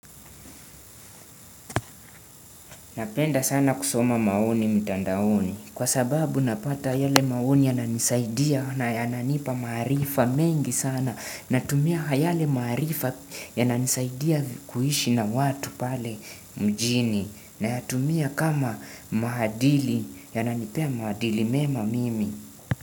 Napenda sana kusoma maoni mitandaoni kwa sababu napata yale maoni yananisaidia na yananipa maharifa mengi sana. Natumia yale maharifa yananisaidia kuhishi na watu pale mjini na yatumia kama mahadili yananipea mahadili mema mimi.